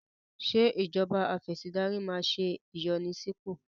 Ṣé ìjọba afẹ̀sìndarí máa ṣe ìyànsípò?